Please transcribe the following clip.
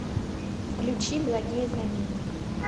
включи благие знамения